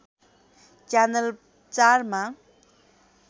channel ४ मा